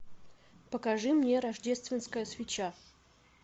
покажи мне рождественская свеча